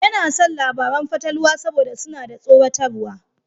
Yana son labaran fatalwa saboda suna da tsoratarwa.